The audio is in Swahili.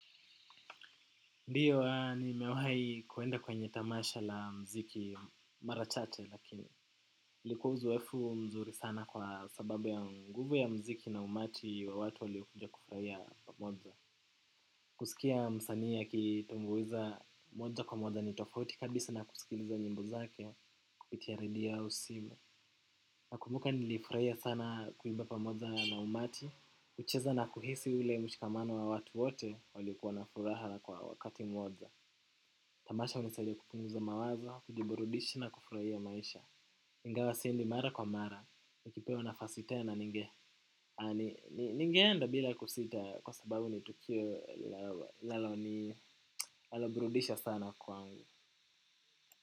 Ndiyo nimewahi kuenda kwenye tamasha la mziki mara chache lakini ilikua uzoefu mzuri sana kwa sababu ya nguvu ya mziki na umati wa watu waliokuja kufurahia pamoja. Kusikia msani akitumbuiza moja kwa moja ni tofauti kabisa na kusikiliza nyimbo zake kupitia redio au simu. Nakumbuka nilifuraia sana kuimba pamoja na umati, kucheza na kuhisi ule mshikamano wa watu wote waliokua na furaha kwa wakati mmoja. Tamasha hunisaidia kupunguza mawazo, kujiburudisha na kufurahia maisha. Ingawa siendi mara kwa mara, nikipewa nafasi tena ninge. Ningeenda bila kusita kwa sababu ni tukio laloni naloburudisha sana kwangu.